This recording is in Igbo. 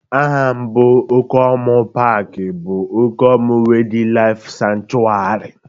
Aha mbụ Okomu paaki bụ Okomu Waydlaif Sanchuari